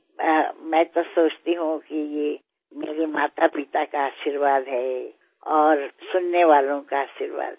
হ্যাঁ কিন্তু আমি মনে করি এসবই আমার মাবাবার আশীর্বাদ এবং সকল শ্রোতাবন্ধুদের আশীর্বাদ